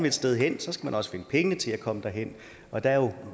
et sted hen skal man også finde pengene til at komme derhen og der er